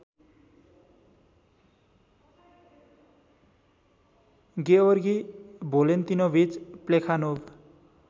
गेओर्गी Valentinovich Plekhanov